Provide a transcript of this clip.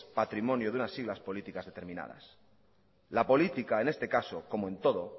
patrimonio de unas siglas políticas determinadas la política en este caso como en todo